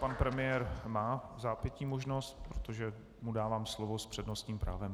Pan premiér má vzápětí možnost, protože mu dávám slovo s přednostním právem.